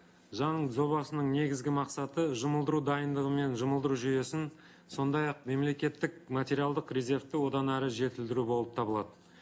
заң жобасының негізгі мақсаты жұмылдыру дайындығы мен жұмылдыру жүйесін сондай ақ мемлекеттік материалдық резервті одан әрі жетілдіру болып табылады